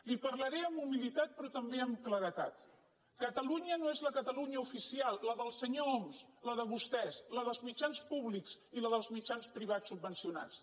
li parlaré amb humilitat però també amb claredat catalunya no és la catalunya oficial la del senyor homs la de vostès la dels mitjans públics ni la dels mitjans privats subvencionats